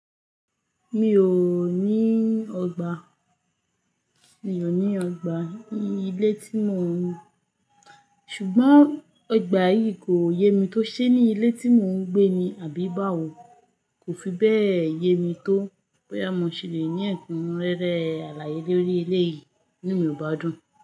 Mi ò ní ọgbà, mi ò ní ọgbà ní ilé tí mò ń, ṣùgbọ́n ọgbà yìí kò yé mi tó ṣe ni ilé tí mò ń gbé ni, àbí báwo? Kò fi bẹ́ẹ̀ yé mi tó, bóyá mo ṣe lè ní ẹ̀kúnrẹ́rẹ́ alàyé lórí eleyìí inu mi ò bá dùn.